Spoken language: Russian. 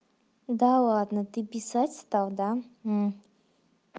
да ладно ты писать стал да